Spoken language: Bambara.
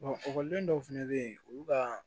ekɔliden dɔw fɛnɛ bɛ ye olu ka